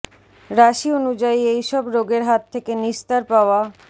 রাশি অনুযায়ী এই সব রোগের হাত থেকে নিস্তার পাওয়া